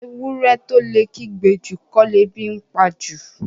Ewúrẹ́ tó lè kígbe jù, kọ́ lebi ńpa jù.